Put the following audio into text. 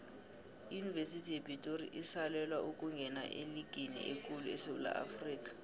iyunivesithi yepitori isalwela ukungena eligini ekulu esewula afrikha